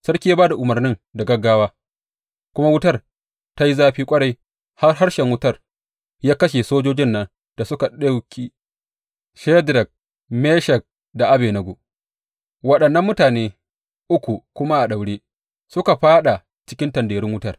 Sarki ya ba da umarnin da gaggawa kuma wutar ta yi zafi ƙwarai har harshen wutar ya kashe sojojin nan da suka ɗauki Shadrak, Meshak da Abednego, waɗannan mutane uku kuma a daure, suka fāɗa cikin tanderun wutar.